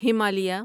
Himalaya